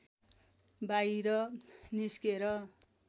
बाहिर निस्केर